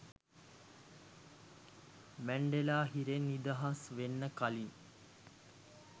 Mandela හිරෙන් නිදහස් වෙන්න කලින්